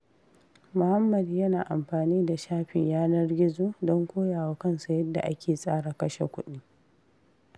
Muhammad yana amfani da shafin yanar gizo don koya wa kansa yadda ake tsara kashe kuɗi.